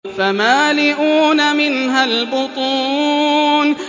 فَمَالِئُونَ مِنْهَا الْبُطُونَ